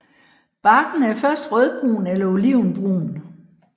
Barken er først rødbrun eller olivenbrun